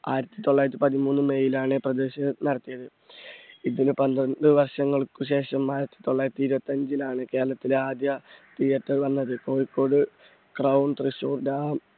ആയിരത്തി തൊള്ളായിരത്തി പതിമൂന്ന് may ലാണ് പ്രദർശനം നടത്തിയത്. ഇതിന് പന്ത്രണ്ട് വർഷങ്ങൾക്ക് ശേഷം ആയിരത്തി തൊള്ളായിരത്തി ഇരുപത്തഞ്ചിലാണ് കേരളത്തിലെ ആദ്യ theatre വന്നത്. കോഴിക്കോട് ക്രൗൺ തൃശൂർ